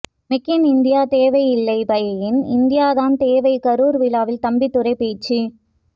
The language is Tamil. மேக் இன் இந்தியா தேவை இல்லை பை இன் இந்தியா தான் தேவை கரூர் விழாவில் தம்பிதுரை பேச்சு